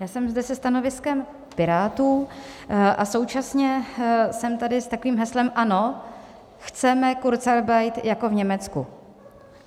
Já jsem zde se stanoviskem Pirátů a současně jsem tady s takovým heslem: Ano, chceme kurzarbeit jako v Německu.